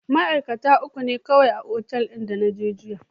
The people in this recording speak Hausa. Ma'aikaci uku ne kawai a otal da na je jiya.